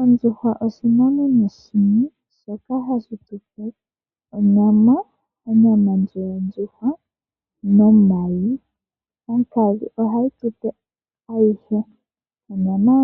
Ondjuhwa oshinamwenyo shimwe shoka hashi tupe onyama yondjuhwa nomayi. Onkadhi ohayi tupe ayihe onyama